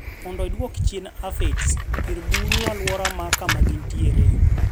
mondo isduoki chien afids kir buru aluora ma kuma gin tiere